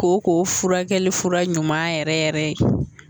Kooko furakɛli fura ɲuman yɛrɛ yɛrɛ ye